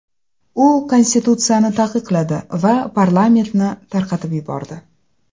U konstitutsiyani taqiqladi va parlamentni tarqatib yubordi.